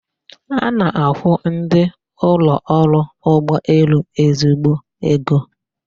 A na-akwụ ndị ụlọ ọrụ ụgbọelu ezigbo ego